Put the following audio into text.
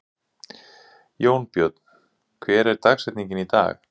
Jónbjörn, hver er dagsetningin í dag?